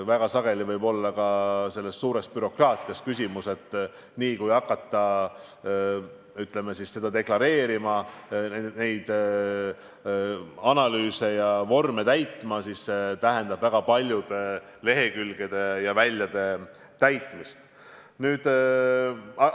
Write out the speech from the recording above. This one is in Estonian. Väga sageli võib olla küsimus ka suures bürokraatias – niipea, kui hakata seda deklareerima, kõiki analüüse tegema ja vorme täitma, siis see tähendab väga paljude lehekülgede ja väljade täitmist.